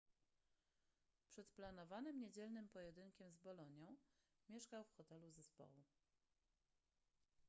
przed planowanym niedzielnym pojedynkiem z bolonią mieszkał w hotelu zespołu